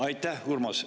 Aitäh!